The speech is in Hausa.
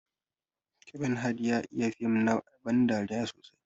Kevin Hart ya iya fim na ban dariya sosai.